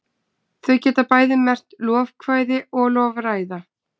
Þau geta bæði merkt lofkvæði og lofræða.